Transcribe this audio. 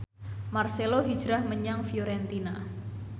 marcelo hijrah menyang Fiorentina